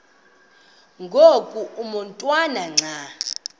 ngoku umotwana xa